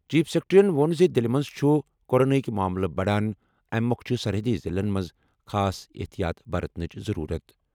Chief سیکرٹریَن ووٚن زِ دِلہِ منٛز چھِ کوروناہٕکۍ معاملہٕ بڑان، اَمی مۄکھٕ چھِ سرحدی ضِلعن منٛز خاص احتیاط برتٕنٕچ ضروٗرت۔